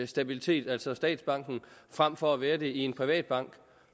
stabilitet altså statsbanken frem for at være det i en privat bank